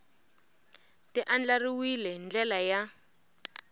ti andlariwile hi ndlela ya